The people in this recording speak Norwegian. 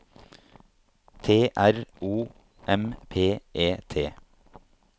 T R O M P E T